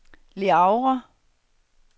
Le Havre